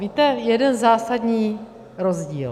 Víte, jeden zásadní rozdíl.